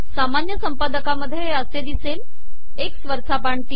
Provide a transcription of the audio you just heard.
सामानय संपादकामधये हे असे िदसेल एकस वरचा बाण तीन